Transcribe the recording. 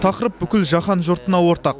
тақырып бүкіл жаһан жұртына ортақ